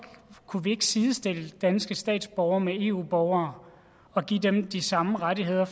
kunne vi ikke sidestille danske statsborgere med eu borgere og give dem de samme rettigheder